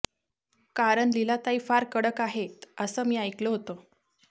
कारण लीलाताई फार कडक आहेत असं मी ऐकलं होतं